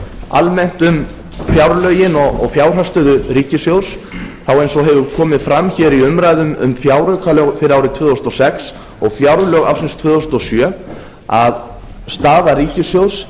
almennt um fjárlögin og fjárhagsstöðu ríkissjóðs þá eins og hefur komið fram hér í umræðum um fjáraukalög fyrir árið tvö þúsund og sex og fjárlög ársins tvö þúsund og sjö er staða ríkissjóðs